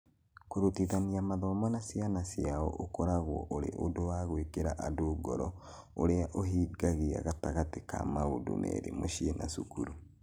Kũrutithania mathomo na ciana ciao ũkoragwo ũrĩ ũndũ wa gwĩkĩra andũ ngoro ũrĩa ũhingagia gatagatĩ ka maũndũ merĩ, mũciĩ na cukuru.